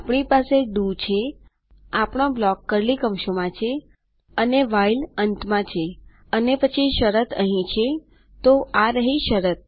આપણી પાસે ડીઓ છેઆપણો બ્લોક કર્લી કૌંસોમાં છેઅને વ્હાઇલ અંતમાં છેઅને પછી શરત અહીં છેતો આ રહી શરત